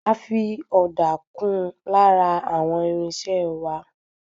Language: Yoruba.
A fi ọ̀dà kún lára àwọn irinṣẹ́ẹ wá.